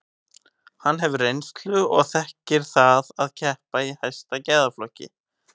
Hann hefur reynslu og þekkir það að keppa í hæsta gæðaflokki.